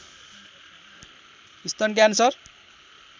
स्तन क्यान्सर